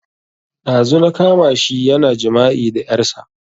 Ɗazu na kama shi yana jima'i da ƴarsa